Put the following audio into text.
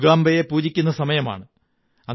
ദുര്ഗ്ഗാം ബയെ പൂജിക്കുന്ന സമയമാണ്